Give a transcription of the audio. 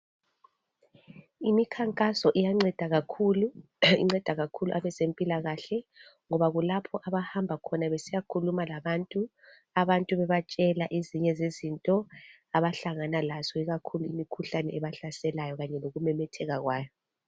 Imikhankaso iyanceda kakhulu inceda kakhulu abezempilakahle ngoba kulapho abahamba khona besiyakhuluma labantu, abantu bebatshela ezinye zezinto abahlangana lazo ikakhulu imikhuhlane ebahlaselayo kanye lokumemetheka kwayo.